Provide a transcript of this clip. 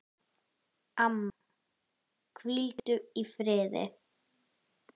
Amma, hvíldu í friði.